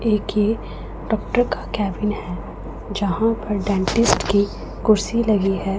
एक ये डॉक्टर का केबिन है जहां पर डेंटिस्ट की कुर्सी लगी है।